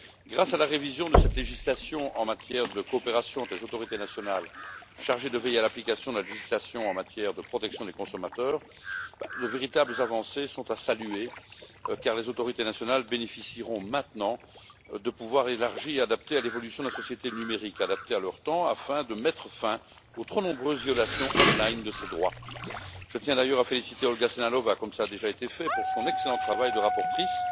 Grâce à la révision de cette législation en matière de coopération des autorités nationales chargées de veiller à l'application de la législation en matière de protection des consommateurs, de véritables avancées sont à saluer, car les autorités nationales bénéficieront maintenant de pouvoirs élargis et adaptés à l'évolution de la société numérique, adaptés à leur temps afin de mettre fin aux trop nombreuses violations en ligne de ces droits. Je tiens d'ailleurs à féliciter Olga Sehnalová, comme cela a déjà été fait, pour son excellent travail de rapporteure